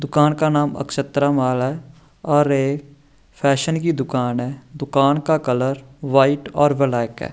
दुकान का नाम अक्षत्र माल है और एक फैशन की दुकान है दुकान का कलर व्हाइट और ब्लैक है।